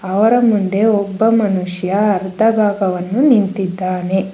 ಅವರ ಮುಂದೆ ಒಬ್ಬ ಮನುಷ್ಯ ಅರ್ದ ಭಾಗವನ್ನು ನಿಂತಿದ್ದಾನೆ.